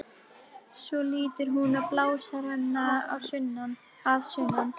Svo lítur hún á blásarann að sunnan.